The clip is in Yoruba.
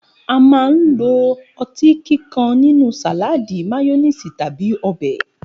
A máa ń lo o̩tí kíkan nínú sàláàdì, máyó̩néèsì tàbí o̩bè̩